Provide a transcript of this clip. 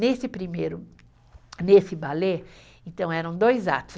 Nesse primeiro, nesse balé, então eram dois atos.